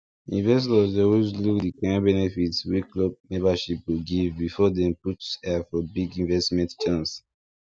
investors dey always look the kind benefit wey club membership go give before dem put eye for big investment chance